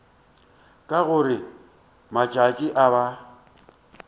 ka gore matšatši a ba